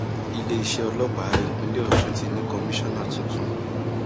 iléeṣẹ ọlọpàá ìpínlẹ ọsùn ti ní kọmíṣánná tuntun